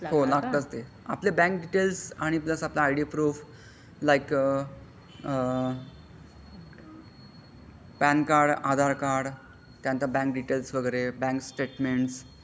लागतातच ते आपला बँक डिटेल्स आणि प्लस आपला सगळं I D proof like uh PAN card Aadhaar card त्या नंतर बँक डिटेल्स वगैरे बँक स्टेटमेंट्स.